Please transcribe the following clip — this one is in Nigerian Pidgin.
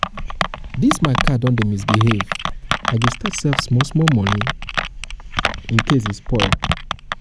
this my car don dey misbehave i go start save small small money incase e spoil